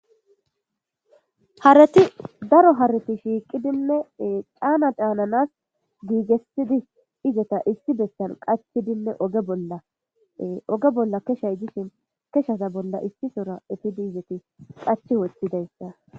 Hareti Daro hareta shiqidine Cana cananas gigetidi izzeta issi bessan Qachidine oge Bolla oge Bolla kechay dishing Kechaza Bolla issisora eppidi qachi Wothidaysa